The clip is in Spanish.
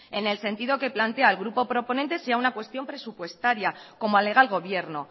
en el sentido que plantea el grupo proponente sea una cuestión presupuestaria como alega el gobierno